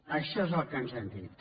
això és el que ens han dit